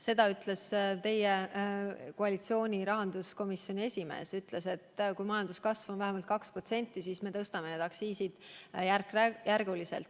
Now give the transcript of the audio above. Seda ütles teie koalitsiooni rahanduskomisjoni esimees, ta ütles, et kui majanduskasv on vähemalt 2%, siis hakkate te aktsiise järk-järgult tõstma.